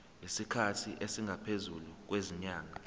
isikhathi esingaphezulu kwezinyanga